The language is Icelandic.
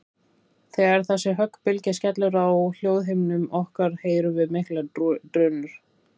Þegar þessi höggbylgja skellur á hljóðhimnum okkar heyrum við miklar drunur.